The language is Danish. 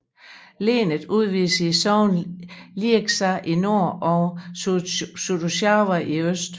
Lenet udvides til sognene Lieksa i nord og Suojärvi i øst